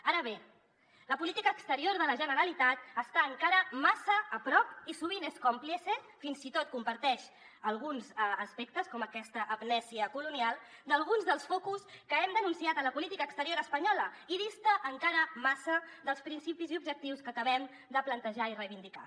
ara bé la política exterior de la generalitat està encara massa a prop i sovint és còmplice fins i tot comparteix alguns aspectes com aquesta amnèsia colonial d’alguns dels focus que hem denunciat a la política exterior espanyola i dista encara massa dels principis i objectius que acabem de plantejar i reivindicar